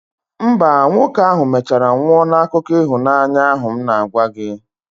mba, nwoke ahụ mechara nwụọ n'akụkọ ịhụnanya ahụ m na-agwa gị